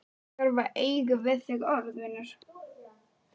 Ég þarf að eiga við þig orð, vinur.